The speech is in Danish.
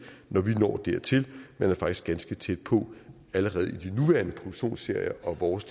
når vi når dertil man er faktisk ganske tæt på allerede i de nuværende produktionsserier og vores